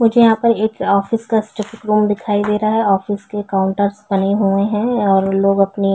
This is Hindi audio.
मुझे यहाँ पर एक ऑफिस का रूम दिखाई दे रहा है ऑफिस के काउंटरस बने हुए है और लोग अपनी--